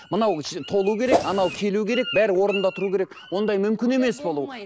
мынау толу керек анау келу керек бәрі орнында тұру керек ондай мүмкін емес болу